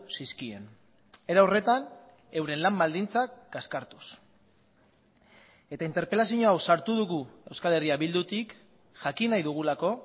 zizkien era horretan euren lan baldintzak kaskartuz eta interpelazio hau sartu dugu euskal herria bildutik jakin nahi dugulako